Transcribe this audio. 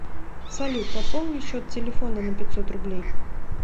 салют пополни счет телефона на пятьсот рублей